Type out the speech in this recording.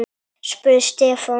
spurði Stefán.